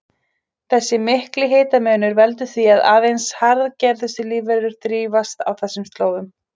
Þessi mikli hitamunur veldur því að aðeins harðgerustu lífverur þrífast á þessum slóðum.